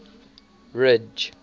ridge